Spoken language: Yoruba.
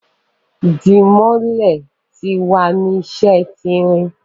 Dimole ti wa ni ṣe ti irin